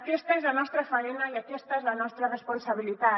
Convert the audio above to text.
aquesta és la nostra faena i aquesta és la nostra responsabilitat